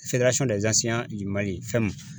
fɛn ma